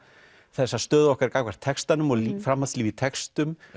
þessa stöðu okkar gagnvart textanum og framhaldslíf í textum